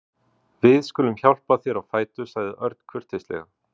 Við skulum hjálpa þér á fætur sagði Örn kurteislega.